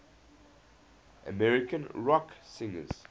american rock singers